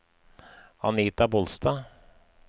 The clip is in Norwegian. Anita Bolstad